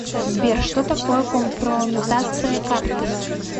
сбер что такое компрометация карты